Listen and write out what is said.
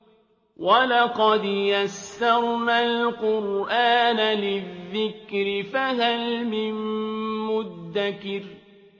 وَلَقَدْ يَسَّرْنَا الْقُرْآنَ لِلذِّكْرِ فَهَلْ مِن مُّدَّكِرٍ